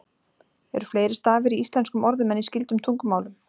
Eru fleiri stafir í íslenskum orðum en í skyldum tungumálum?